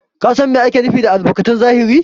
Ka San Mai ake nufi da albarkatun zahiri?